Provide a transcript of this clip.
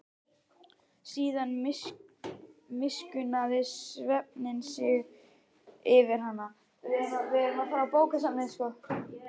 Síðan miskunnaði svefninn sig yfir hana.